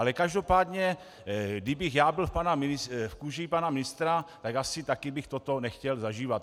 Ale každopádně kdybych já byl v kůži pana ministra, tak asi taky bych toto nechtěl zažívat.